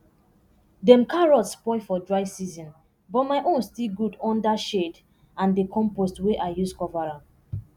dem carrots spoil for dry season but my own still good under shade and d compost wey i use cover am